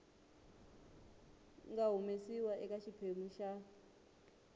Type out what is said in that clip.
nga humesiwa eka xiphemu xa